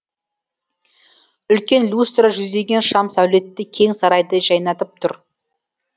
үлкен люстра жүздеген шам сәулетті кең сарайды жайнатып тұр